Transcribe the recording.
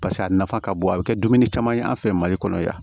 Paseke a nafa ka bon a bɛ kɛ dumuni caman ye an fɛ mali kɔnɔ yan